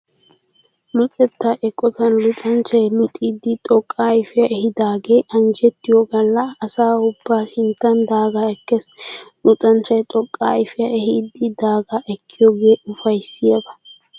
Luxetta eqotan luxanchchay luxidi xoqqa ayfiyaa ehiidaagee anjjettiyo galla asa ubba sinttan daagaa ekkees. Luxanchchay xoqqa ayfiyaa ehiidi daagaa ekkiyoogee ufayssiyaaba.